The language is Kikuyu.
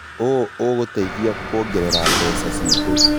ũũ ũgũtũteithia kuongerera mbeca citũ.